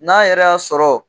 N'an yɛrɛ y'a sɔrɔ